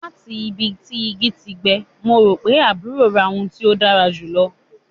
Lati bi igi ti gbẹ, Mo ro pe aburo ra ohun ti o dara julọ